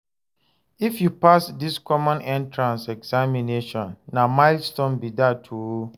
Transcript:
If you pass this Common Entrance Examination, na milestone be dat o.